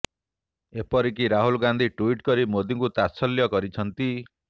ଏପରିକି ରାହୁଲ ଗାନ୍ଧି ଟ୍ୱିଟ୍ କରି ମୋଦିଙ୍କୁ ତାତ୍ସଲ୍ୟ କରିଛନ୍ତି